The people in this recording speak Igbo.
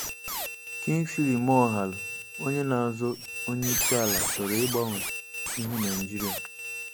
Kingsley Moghalu onye na-azọ onyeisiala chọrọ ịgbanwe ihu Naịjirịa